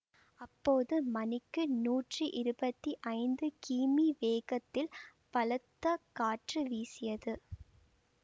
அப்போது மணிக்கு நூற்றி இருபத்தி ஐந்து கிமீ வேகத்தில் பலத்த காற்று வீசியது